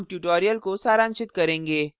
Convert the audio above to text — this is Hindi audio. अब हम tutorial को सारांशित करेंगे